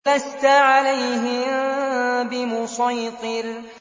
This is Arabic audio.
لَّسْتَ عَلَيْهِم بِمُصَيْطِرٍ